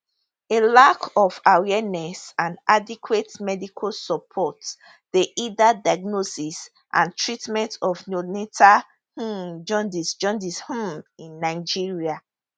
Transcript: a lack of awareness and adequate medical support dey hinder diagnosis and treatment of neonatal um jaundice jaundice um in nigeria